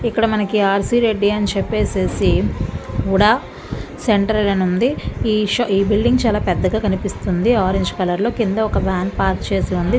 ఇక్కడ మనకి ఆర్సి రెడ్డి అని చెప్పేసేసి కూడా సెంటర్ గానే ఉంది. ఈషా ఈ బిల్డింగ్ చాలా పెద్దగా కనిపిస్తుంది. ఆరెంజ్ కలర్ లో కింద ఒక వ్యాన్ పార్క్ చేసి ఉంది .